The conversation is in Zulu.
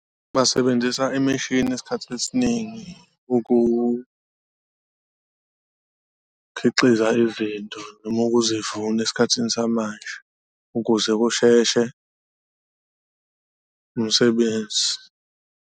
Basebenzisa imishini isikhathi esiningi ukukhiqiza izinto noma ukuzivuna esikhathini samanje, ukuze kusheshe umsebenzi.